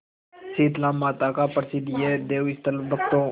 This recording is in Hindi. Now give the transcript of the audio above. शीतलामाता का प्रसिद्ध यह देवस्थल भक्तों